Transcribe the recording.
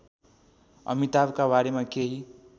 अमिताभका बारेमा केही